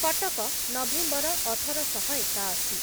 Cuttack November ଅଠର ଶହ ଏକାଅଶି